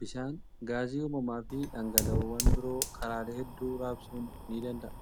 Bishaan, gaasii uumamaa fi dhangala'oowwan biroo karaalee hedduu raabsuun ni danda'a.